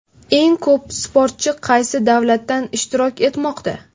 Eng ko‘p sportchi qaysi davlatdan ishtirok etmoqda?